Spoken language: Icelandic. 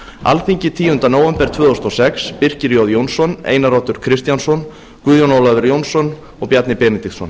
alþingi tíunda nóvember tvö þúsund og sex birkir jón jónsson einar oddur kristjánsson guðjón ólafur jónsson og bjarni benediktsson